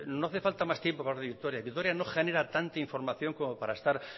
no hace falta más tiempo para radio vitoria vitoria no genera tanta información como para estar